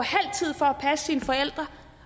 halv sine forældre